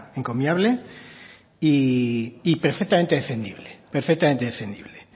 encomiable y perfectamente defendible perfectamente defendible